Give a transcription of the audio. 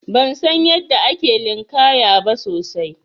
Ban san yadda ake linƙaya ba sosai.